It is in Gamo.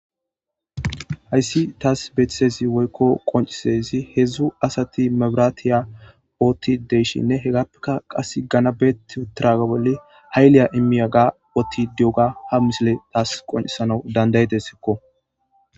Hayssi taas beethtezi woykko qoncisezi heedzdzu asati mabiratiya ootti deyshinne hegappeka qas gana beet tiraga bolle hayliya immiya ga ootti di7oga ha misile taas qoncisana dandayedessekko